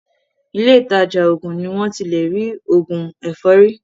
Ilé ìtajà òògùn ni wọ́n ti lé rí òògùn ẹ̀fọ́rí.